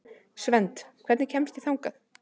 Svend, hvernig kemst ég þangað?